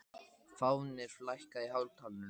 Fáfnir, lækkaðu í hátalaranum.